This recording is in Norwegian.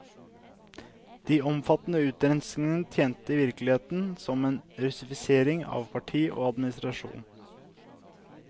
De omfattende utrenskningene tjente i virkeligheten som en russifisering av parti og administrasjon.